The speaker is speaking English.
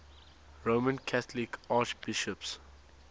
roman catholic archbishops